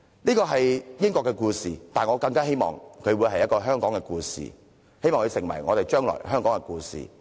這是英國的故事，但我更希望這會成為香港的故事，成為將來在香港傳誦的故事。